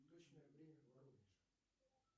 точное время в воронеже